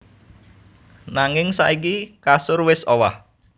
Nanging saiki kasur wis owah